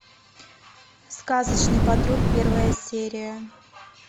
сказочный патруль первая серия